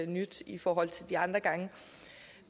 nyt i forhold til de andre gange